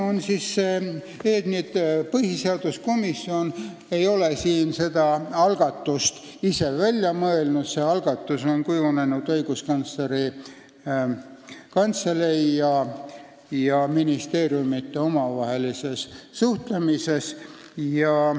Põhiseaduskomisjon ei ole seda algatust ise välja mõelnud, see on kujunenud Õiguskantsleri Kantselei ja ministeeriumide omavahelises suhtlemises.